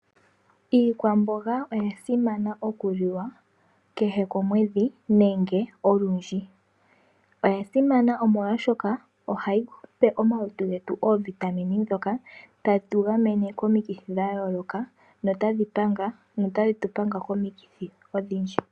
Iikwamboga oyasimana okuliwa kehe komwedhi nenge olundji. Oyasimana molwashoka ohayi pe omalutu getu oovitamine ndhoka hadhi tu gamene komikithi natadhi tu panga komikithi odhindji.